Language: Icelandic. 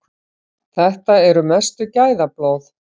Þetta eru mestu gæðablóð.